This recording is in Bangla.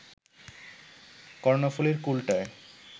কর্ণফুলীর কূলটায়